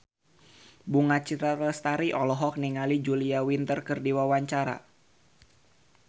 Bunga Citra Lestari olohok ningali Julia Winter keur diwawancara